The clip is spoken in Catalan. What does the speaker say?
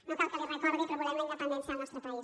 no cal que l’hi recordi però volem la independència del nostre país